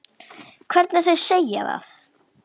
Hvernig þau segja það.